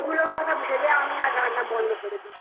কথা ভেবে আমি রান্না বন্ধ করে দিয়েছি ধুর আমার তার চেয়ে বাঙালি রান্না ভালো